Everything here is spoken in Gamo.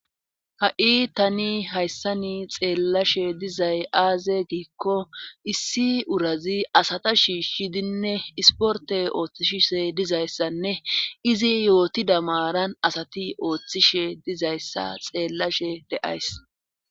Ha7i tani hayssani xeellashe dizay aaze giikko issi urazi asata shiishshidinne isporte ooththishishe dizayssanne izi yooti damaaran asati ooththishe dizayssa xeellashe de7ays.